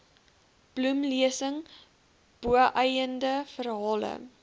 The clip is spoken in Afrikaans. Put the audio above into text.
bloemlesing boeiende verhale